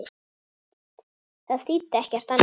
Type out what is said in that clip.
Það þýddi ekkert annað.